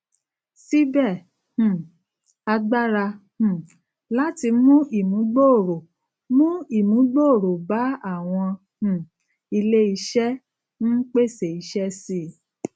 síbè um àgbára um láti mú ìmúgbòòrò mú ìmúgbòòrò bá àwọn um ilé iṣé n pèsè iṣé síi